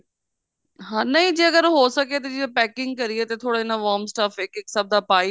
ਹਾਂ ਨਹੀਂ ਅਗਰ ਜੇ ਹੋ ਸਕੇ ਤੇ packing ਕਰੀਏ ਤਾਂ ਥੋੜੇ ਨਾ ਵਾਰਮ stuff ਇੱਕ ਇੱਕ ਸਭ ਦਾ ਪਾ ਹੀ ਲੀਏ